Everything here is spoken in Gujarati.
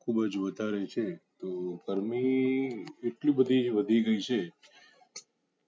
ખુબ જ વધારે છે તો ગરમી એટલી બધી વધી ગયી છે